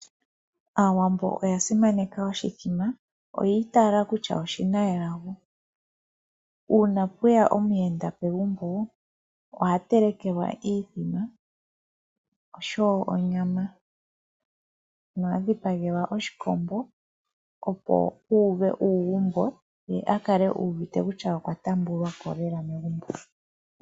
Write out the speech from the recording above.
Aawambo oya simaneka oshimbombo oyi itaala kutya oshi na elago uuna pweya omuyenda pegumbo oha telekelwa oshimbombo oshowo onyama nohaya dhipagelwa oshikombo opo yuuve uugumbo ye a kale uuvite kutya okwa taambwako lela megumbo.